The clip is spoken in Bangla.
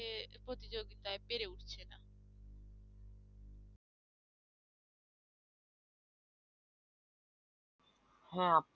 হ্যাঁ আপু